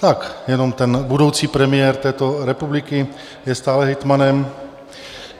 Tak jenom ten budoucí premiér této republiky je stále hejtmanem.